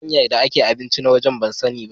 Hanyar da ake abinci na waje ban san ni ba.